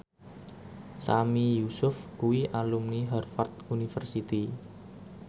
Sami Yusuf kuwi alumni Harvard university